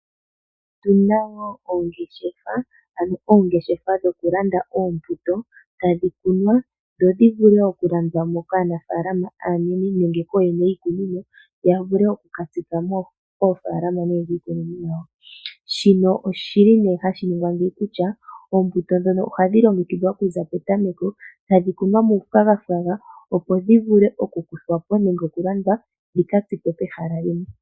Otuna wo oongeshefa, ano oongeshefa dhokulanda oombuto tadhi kunwa dho dhi vule okulandwa mo kaanafaalama aanene nenge kooyene yiikunino, ya vule oku ka tsika koofaalama nenge kiikunino yawo. Shino oshili nee hashi ningwa ngeyi kutya oombuto ndhono ohadhi longekidhwa okuza petameko tadhi kunwa muufwagafwaga opo dhi vule oku kuthwa po nenge oku landwa dhika tsikwe kehala limwe.